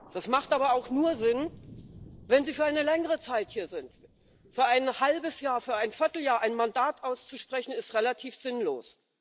Das hat aber auch nur Sinn, wenn sie für eine längere Zeit hier sind Für ein halbes Jahr, für ein Vierteljahr ein Mandat auszusprechen, ist relativ sinnlos.